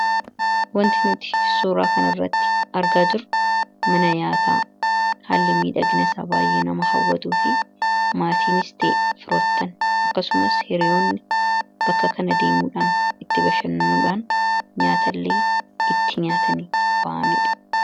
wanti nuti suuraa kana irratti argaa jirru mana nyaataa haalli mii dhagna isa baay'ee nama hawwatuu fi maatiinis ta'e firoottan akkasumas hiriyoonni bakka kana deemuudhaan itti bashannanuudhaan nyaataalee itti nyaatanii ba'aniidha